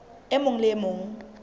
e mong le e mong